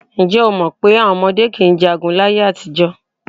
Ǹjẹ́́ o mọ̀ pé àwọn ọmọdé kì í jagun láyé-àtijọ́?